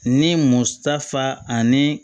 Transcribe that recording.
Ni musafa ani